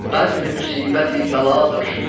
Bir bəzmi-müsibət-i bəladır.